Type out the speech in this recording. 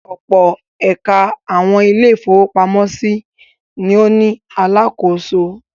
Ọ̀pọ̀ ẹ̀ka àwọn ilé-ìfowópamọ́sí ni ó ní alákòóso.